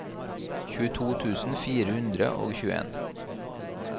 tjueto tusen fire hundre og tjueen